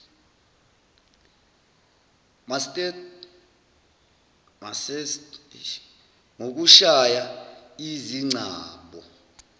masseter ngokushaya izingcabo